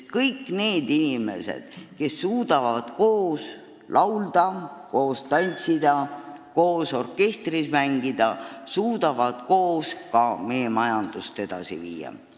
Ja inimesed, kes suudavad koos laulda, koos tantsida, koos orkestris mängida, suudavad koos ka meie majandust edasi viia.